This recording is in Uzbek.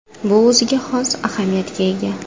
Bu o‘ziga xos ahamiyatga ega.